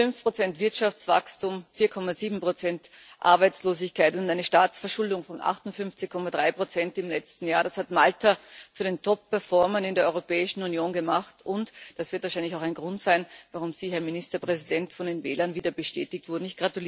5 Wirtschaftswachstum, 4,7 Arbeitslosigkeit und eine Staatsverschuldung von 58,3 im letzten Jahr das hat Malta zu einem der Top Performer in der Europäischen Union gemacht, und das wird wahrscheinlich auch ein Grund sein, warum Sie, Herr Ministerpräsident, von den Wählern wieder bestätigt wurden.